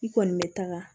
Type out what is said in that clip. I kɔni bɛ taga